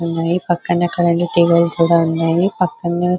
వున్నాయ్ పక్కనే కరెంట్ తీగలు కూడా వున్నాయి పక్కనే --